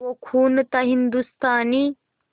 वो खून था हिंदुस्तानी